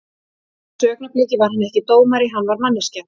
Á þessu augnabliki var hann ekki dómari, hann var manneskja.